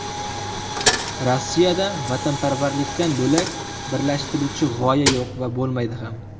Rossiyada vatanparvarlikdan bo‘lak birlashtiruvchi g‘oya yo‘q va bo‘lmaydi ham.